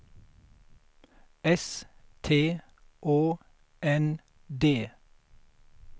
S T Å N D